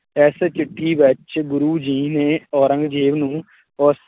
ਇਸ ਚਿੱਠੀ ਵਿੱਚ ਗੁਰੁ ਜੀ ਨੇ ਔਰੰਗਜ਼ੇਬ ਨੂੰ ਉਸ